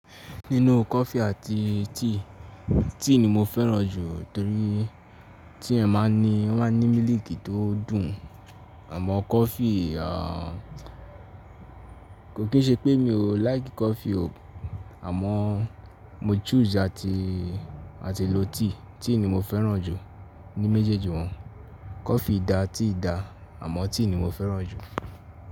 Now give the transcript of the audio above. Nínú coffee àti tea, tea ni mo fẹ́ràn jù torí tea máa ń ní, ó má ń ní mílìkì tó dùn. Àmọ́ coffee, ah, kò kí n ṣe pé mi ò like coffee o, àmọ́ mo choose àti, àti lo tea. Tea ni mo fẹ́ràn jù ní méjèèjì wọn. Coffee dà, tea dà, àmọ́ tea ni mo fẹ́ràn jù.